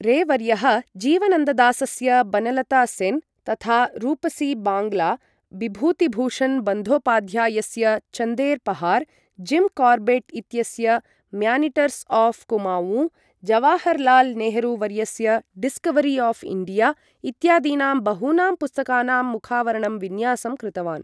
रे वर्यः जीवनन्ददासस्य बनलता सेन्, तथा रूपसी बाङ्ग्ला, बिभूतिभूषण बन्द्योपाध्यायस्य चन्देर् पहार, जिम् कार्बेट् इत्यस्य म्यानीटर्स् आफ् कुमावूँ, जवाहरलाल् नेहरू वर्यस्य डिस्कवरी आफ् इण्डिया इत्यादीनां बहूनां पुस्तकानां मुखावरणं विन्यासं कृतवान्।